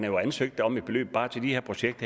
jo ansøgt om et beløb bare til det her projekt